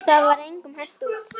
Það var engum hent út.